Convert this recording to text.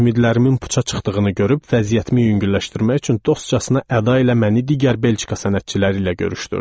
Ümidlərimin puça çıxdığını görüb vəziyyətimi yüngülləşdirmək üçün dostcasına əda ilə məni digər Belçika sənətçiləri ilə görüşdürdü.